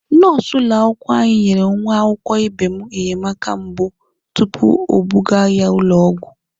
Nọọsụ ụlọakwụkwọ anyị nyere nwa akwụkwọ ibe m enyemaka mbụ tupu ebuga ya ụlọ ọgwụ.